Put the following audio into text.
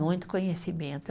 Muito conhecimento.